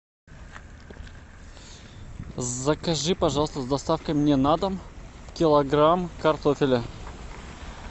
закажи пожалуйста с доставкой мне на дом килограмм картофеля